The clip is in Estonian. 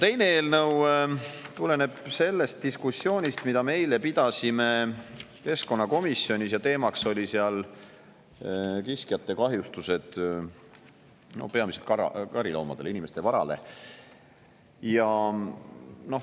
Teine eelnõu tuleneb sellest diskussioonist, mida me eile pidasime keskkonnakomisjonis, kus teemaks olid kiskjate kahjustused peamiselt kariloomadele, inimeste varale.